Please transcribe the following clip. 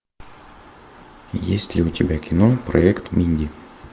есть ли у тебя кино проект минди